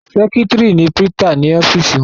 Sẹ́kítrì ni prítà ní ọ́fìsì wọn.